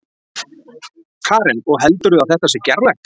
Karen: Og heldurðu að þetta sé gerlegt?